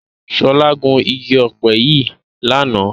Ṣọlá gun igi ọ̀pẹ yìí lánàá.